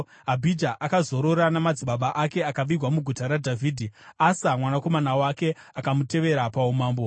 Abhija akazorora namadzibaba ake akavigwa muguta raDhavhidhi. Asa, mwanakomana wake, akamutevera paumambo.